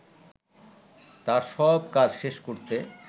তার সব কাজ শেষ করতে